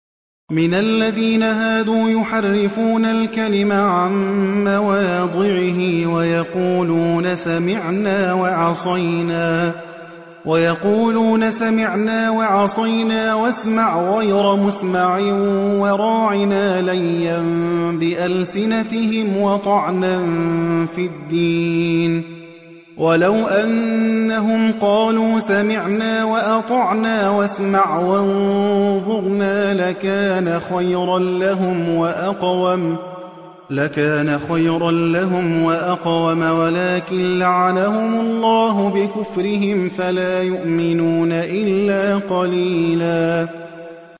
مِّنَ الَّذِينَ هَادُوا يُحَرِّفُونَ الْكَلِمَ عَن مَّوَاضِعِهِ وَيَقُولُونَ سَمِعْنَا وَعَصَيْنَا وَاسْمَعْ غَيْرَ مُسْمَعٍ وَرَاعِنَا لَيًّا بِأَلْسِنَتِهِمْ وَطَعْنًا فِي الدِّينِ ۚ وَلَوْ أَنَّهُمْ قَالُوا سَمِعْنَا وَأَطَعْنَا وَاسْمَعْ وَانظُرْنَا لَكَانَ خَيْرًا لَّهُمْ وَأَقْوَمَ وَلَٰكِن لَّعَنَهُمُ اللَّهُ بِكُفْرِهِمْ فَلَا يُؤْمِنُونَ إِلَّا قَلِيلًا